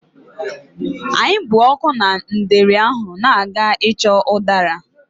Anyị bụ ọkụ na ndeeri ahụ na-aga ịchọ ụdara.